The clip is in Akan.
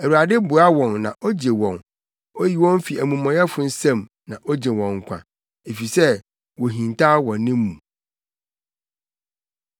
Awurade boa wɔn na ogye wɔn; oyi wɔn fi amumɔyɛfo nsam, na ogye wɔn nkwa, efisɛ wohintaw wɔ ne mu.